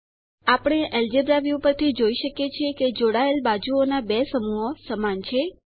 આપણે algebra view પરથી જોઈ શકીએ છીએ કે જોડાયેલ બાજુઓના 2 સમૂહો સમાન છે